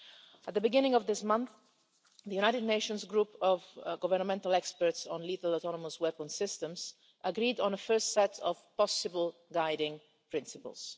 At the beginning of this month, the United Nations Group of Governmental Experts on Lethal Autonomous Weapons Systems agreed on an initial set of possible guiding principles.